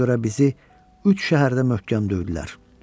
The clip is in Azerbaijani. Ona görə bizi üç şəhərdə möhkəm döydülər.